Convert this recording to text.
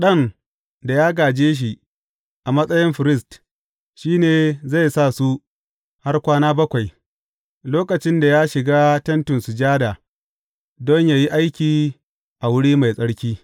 Ɗan da ya gāje shi a matsayin firist, shi ne zai sa su har kwana bakwai, lokacin da ya shiga Tentin Sujada, don yă yi aiki a Wuri Mai Tsarki.